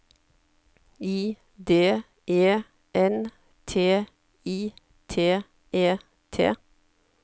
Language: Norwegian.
I D E N T I T E T